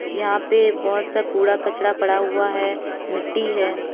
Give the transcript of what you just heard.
यहां पे बहुत सा कूड़ा कचरा पड़ा हुआ है मिट्टी है।